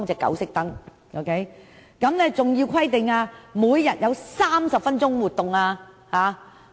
另外，狗隻每日必須有30分鐘的活動時間。